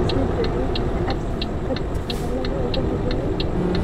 Ma sii duqaynayaa Arsenal ka dib hadallada ugu horreeyay?